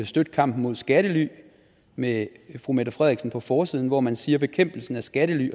støtte kampen mod skattely med fru mette frederiksen på forsiden hvor man siger at bekæmpelsen af skattely